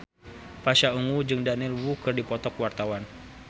Pasha Ungu jeung Daniel Wu keur dipoto ku wartawan